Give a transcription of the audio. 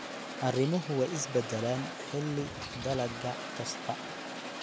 Arrimuhu way is beddelaan xilli-dalagga kasta.